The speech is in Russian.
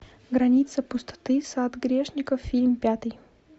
граница пустоты сад грешников фильм пятый